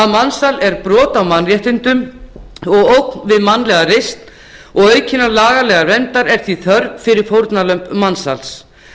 mansal er brot á mannréttindum og ógn við mannlega reisn og að aukinnar lagalegrar verndar sé því þörf fyrir fórnarlömb mansals